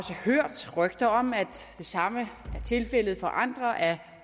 hørt rygter om at det samme er tilfældet for andre af